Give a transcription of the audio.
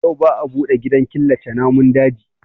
Yau ba a buɗe gidan killace namun daji